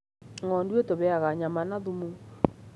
Ng'ondu ĩtũheaga nyama na thumu.